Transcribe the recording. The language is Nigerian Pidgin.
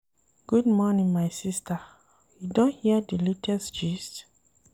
Good morning my sista, you don hear di latest gist?